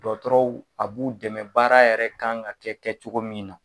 Dɔɔtɔrɔw a b'u dɛmɛ baara yɛrɛ kan ka kɛ kɛcogo min na.